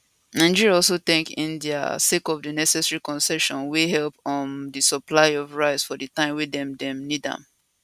nigeria also thank india sake of di necessary concessions wey help um di supply of rice for di time wey dem dem need am